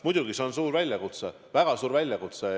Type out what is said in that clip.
Muidugi, see on suur väljakutse, väga suur väljakutse.